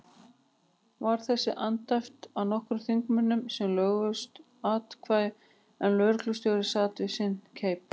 Var þessu andæft af nokkrum þingmönnum sem löglausu athæfi, en lögreglustjóri sat við sinn keip.